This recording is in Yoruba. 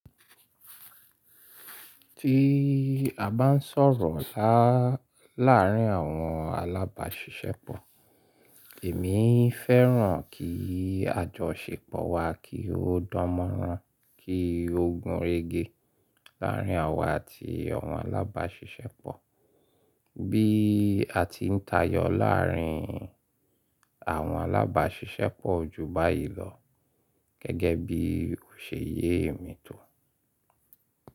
Tí a bá ń sọ̀rọ̀ láàárín àwọn alábàáṣiṣẹ́pọ̀, èmi fẹ́ràn kí àjọ ṣèpọ̀ wa kí ó dánmọ́nrán, kí ó gunrégé láàárín àwa àti àwọn alábàáṣiṣẹ́pọ̀. Bí a ti ń tayọ láàárín àwọn alábàáṣiṣẹ́pọ̀ o ju báyìí lọ gẹ́gẹ́ bí òṣè ye e mi tò.